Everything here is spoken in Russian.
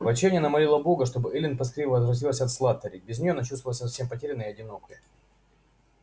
в отчаянии она молила бога чтобы эллин поскорее возвратилась от слаттери без неё она чувствовала себя совсем потерянной и одинокой